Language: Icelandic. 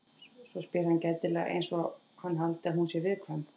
Svo spyr hann gætilega einsog hann haldi að hún sé viðkvæm.